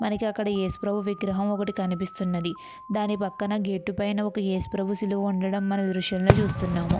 మనకు అక్కడ యేసు ప్రభు విగ్రహం ఒకటి మనకు కనిపిస్తుంది. దాని పైన గేట్ పక్కన ఒక సిలువ ఉండటం మనం ఈ దృశ్యం లో చూస్తున్నాము.